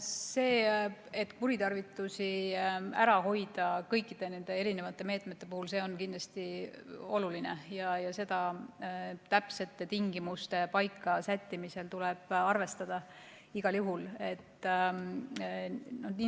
See, et kuritarvitusi kõikide nende meetmete puhul ära hoida, on kindlasti oluline ja seda tuleb täpsete tingimuste paika sättimisel igal juhul arvestada.